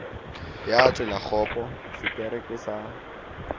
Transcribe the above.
ya tselakgopo sekere ke sa